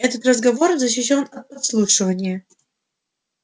этот разговор защищён от подслушивания